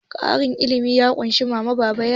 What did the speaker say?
Ƙaramin iyali ya ƙunshi mama, baba da yara.